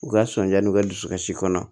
U ka sɔnja n'u ka dusukasi kɔnɔ